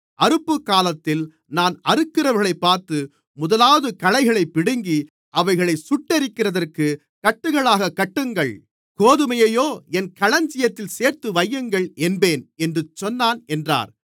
அறுப்புக்காலத்தில் நான் அறுக்கிறவர்களைப் பார்த்து முதலாவது களைகளைப் பிடுங்கி அவைகளைச் சுட்டெரிக்கிறதற்குக் கட்டுகளாகக் கட்டுங்கள் கோதுமையையோ என் களஞ்சியத்தில் சேர்த்துவையுங்கள் என்பேன் என்று சொன்னான் என்றார்